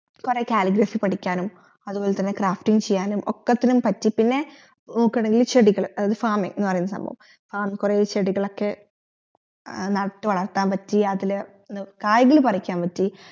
കൊറേ calligraphy പഠിക്കാനും അത്പോലെ തന്നെ crafting ചെയ്യാനും ഒക്കത്തിന് പറ്റി പിന്നെ ചെടികൾ അതായത് farming എന്നുപറയുന്ന സംഭവം ആ കൊറേ ചെടികളൊക്കെ നട്ടുവളർത്താൻ പറ്റി അതി കായികൾ പറിക്കാൻ പറ്റി